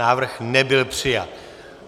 Návrh nebyl přijat.